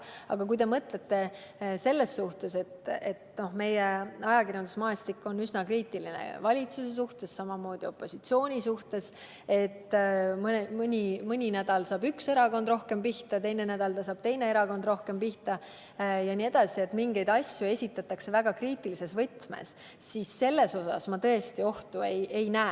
Aga kui te mõtlete seda, et meie ajakirjandusmaastik on üsna kriitiline valitsuse suhtes, samamoodi opositsiooni suhtes – mõni nädal saab üks erakond rohkem pihta, teine nädal saab teine erakond rohkem pihta jne, mingeid asju esitatakse väga kriitilises võtmes –, siis selle puhul ma tõesti ohtu ei näe.